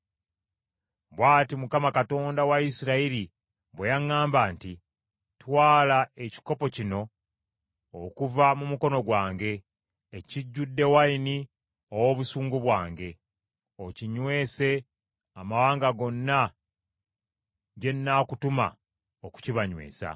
Bw’ati Mukama , Katonda wa Isirayiri bwe yaŋŋamba nti, “Twala ekikopo kino, okuva mu mukono gwange, ekijjudde wayini ow’obusungu bwange, okinywese amawanga gonna gye nnaakutuma okukibanywesa.